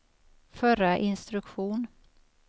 förra instruktion